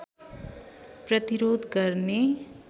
प्रतिरोध गर्ने